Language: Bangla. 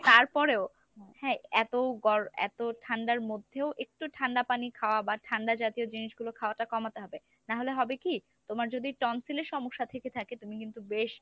তার পরেও হ্যাঁ এত গর~ এত ঠান্ডার মধ্যেও একটু ঠান্ডা পানি খাওয়া বা ঠান্ডা জাতীয় জিনিসগুলো খাওয়াটা কমাতে হবে। তাহলে হবে কী তোমার যদি tonsil এর সমস্যা থেকে থাকে তুমি কিন্তু বেশ